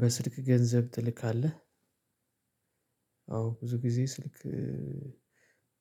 በስልክ ገንዘብ ትልካለህ? አዎ። ብዙ ጊዜ ስልክ